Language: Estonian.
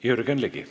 Jürgen Ligi.